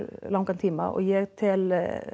langan tíma og ég tel